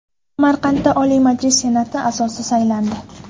Samarqandda Oliy Majlis Senati a’zosi saylandi.